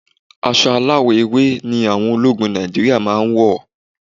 Aṣọ aláwọ̀ ewé ni àwọn ológun Nàìjíríà máa ń wọ̀.